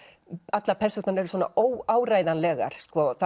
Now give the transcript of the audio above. allar persónurnar eru óáreiðanlegar